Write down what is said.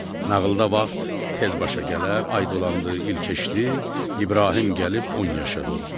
Nağılda vaxt tez başa gələr, ay dolandı, il keçdi, İbrahim gəlib 10 yaşına doldu.